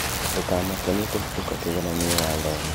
Ndũkamake nĩ ũkũhĩtũka kĩgeranio wathoma